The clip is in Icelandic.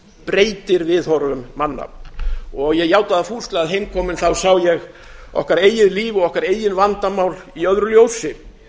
breytir viðhorfum manna ég játa það fúslega að heimkominn sá ég okkar eigið líf og okkar eigin vandamál í öðru ljósi